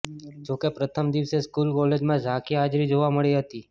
જોકે પ્રથમ દિવસે સ્કૂલ કોલેજોમાં ઝાંખી હાજરી જોવા મળી હતી